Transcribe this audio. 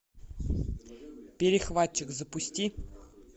перехватчик запусти